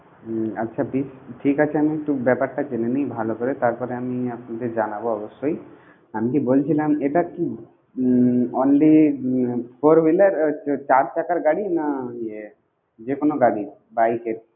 হুম আচ্ছা বেশ ঠিক আছে আমি একটু ব্যাপারটা জেনে নি ভালো করে তারপর আমি আপনাকে জানাবো অবশই, আমি কি বলছিলাম এটা কি উম only four wheeler চার চাকার গাড়ি না যেকোনো গাড়ি bike কে.